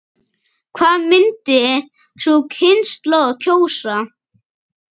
Hvað myndi sú kynslóð kjósa?